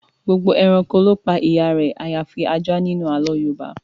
Gbogbo ẹranko ló pa ìyá rẹ àyàfi ajá nínú àlọ́ọ Yorùbá